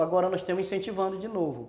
É, agora nós estamos incentivando de novo.